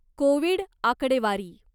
Covid आकडेवारी .